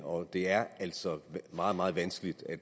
og det er altså meget meget vanskeligt at